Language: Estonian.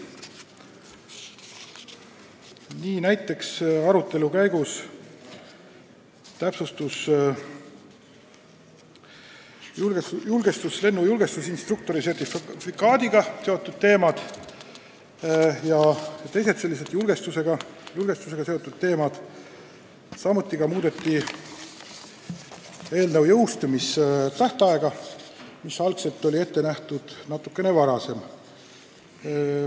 Nii näiteks täpsustusid arutelu käigus lennujulgestusinstruktori sertifikaadiga ja teised julgestusega seotud teemad, samuti muudeti seaduse jõustumise tähtaega, mis algul oli natukene varasem.